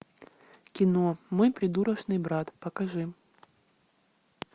кино мой придурочный брат покажи